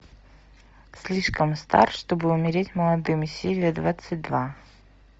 слишком стар чтобы умереть молодым серия двадцать два